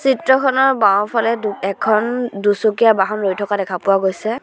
চিত্ৰখনৰ বাওঁফালে দু এখন দুচকীয়া বাহন ৰৈ থকা দেখা পোৱা গৈছে।